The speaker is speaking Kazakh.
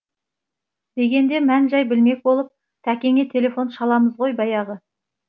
дегенде мән жай білмек болып тәкеңе телефон шаламыз ғой баяғы